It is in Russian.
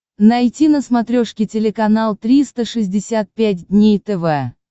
найти на смотрешке телеканал триста шестьдесят пять дней тв